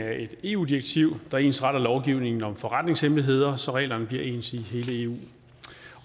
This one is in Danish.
af et eu direktiv der ensretter lovgivningen om forretningshemmeligheder så reglerne bliver ens i hele eu